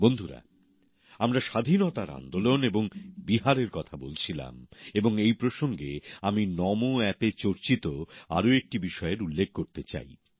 বন্ধুরা আমরা স্বাধীনতার আন্দোলন এবং বিহারের কথা বলছিলাম এবং এই প্রসঙ্গে আমি নমো অ্যাপে চর্চিত আর একটি বিষয়ের উল্লেখ করতে চাই